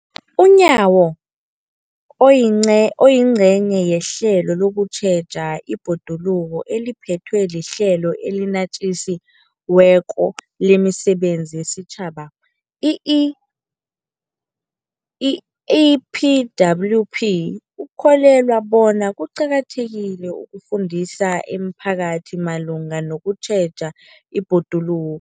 UNyawo, oyingce, oyingcenye yehlelo lokutjheja ibhoduluko eliphethwe liHlelo eliNatjisi weko lemiSebenzi yesiTjhaba, i-EPWP, ukholelwa bona kuqakathekile ukufundisa imiphakathi malungana nokutjheja ibhodulu